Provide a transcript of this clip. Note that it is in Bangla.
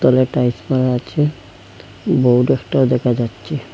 দেওয়ালে টাইলস মারা আচে বোর্ড একটাও দেখা যাচ্চে।